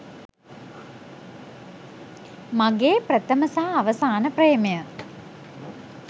මගේ ප්‍රථම සහ අවසාන ප්‍රේමය.